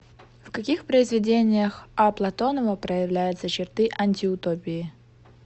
в каких произведениях а платонова проявляются черты антиутопии